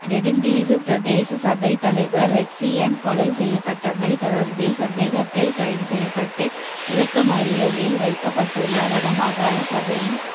நெடுந்தீவு பிரதேச சபைத் தலைவர் ரெக்சியன் கொலை செய்யப்பட்டமை தொடர்பில் சந்தேகத்தில் கைது செய்யப்பட்டு விளக்கமறியலில் வைக்கப்பட்டுள்ள வடமாகாண சபையின்